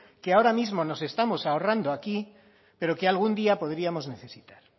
que ahora mismo nos estamos ahorrando aquí pero que algún día podríamos necesitar